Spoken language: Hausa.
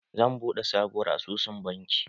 Zan buɗe sabuwar asusun banki